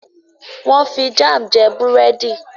wón fí Jam jé Búrẹ́di.